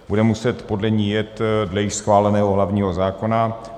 Bude muset podle ní jet dle již schváleného hlavního zákona.